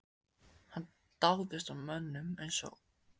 Hann dáðist að mönnum eins og